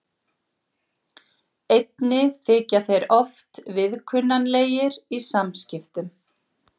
Einnig þykja þeir oft viðkunnanlegir í samskiptum.